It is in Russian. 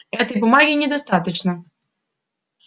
этой бумаги недостаточно